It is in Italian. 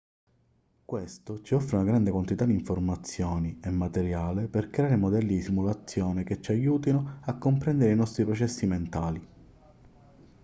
questo ci offre una grande quantità di informazioni e materiale per creare modelli di simulazione che ci aiutino a comprendere i nostri processi mentali